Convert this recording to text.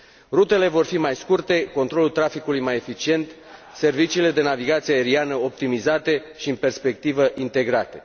Rutele vor fi mai scurte, controlul traficului mai eficient, serviciile de navigație aeriană optimizate și, în perspectivă, integrate.